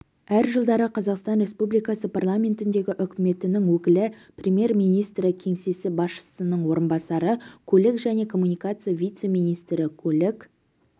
әр жылдары қазақстан республикасы парламентіндегі үкіметінің өкілі премьер-министрі кеңсесі басшысының орынбасары көлік және коммуникация вице-министрі көлік